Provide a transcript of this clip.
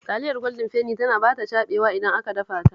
Taliyar Gwaldin Feni tana ba ta caɓewa idan aka dafa ta